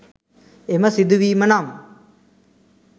එම සිදුවීම නම්